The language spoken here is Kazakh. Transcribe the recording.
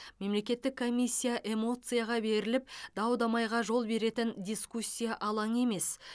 мемлекеттік комиссия эмоцияға беріліп дау дамайға жол беретін дискуссия алаңы емес